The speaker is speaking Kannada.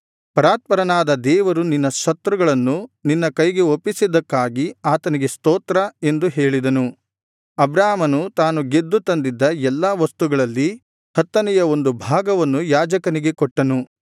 ಪರಾತ್ಪರನಾದ ದೇವರು ನಿನ್ನ ಶತ್ರುಗಳನ್ನು ನಿನ್ನ ಕೈಗೆ ಒಪ್ಪಿಸಿದ್ದಕ್ಕಾಗಿ ಆತನಿಗೆ ಸ್ತೋತ್ರ ಎಂದು ಹೇಳಿದನು ಅಬ್ರಾಮನು ತಾನು ಗೆದ್ದು ತಂದಿದ್ದ ಎಲ್ಲಾ ವಸ್ತುಗಳಲ್ಲಿ ಹತ್ತನೆಯ ಒಂದು ಭಾಗವನ್ನು ಯಾಜಕನಿಗೆ ಕೊಟ್ಟನು